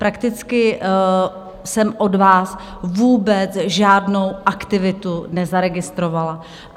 Prakticky jsem od vás vůbec žádnou aktivitu nezaregistrovala.